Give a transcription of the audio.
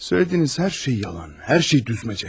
Söylədiyiniz hər şey yalan, hər şey düzməcə.